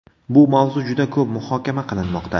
Bu mavzu juda ko‘p muhokama qilinmoqda.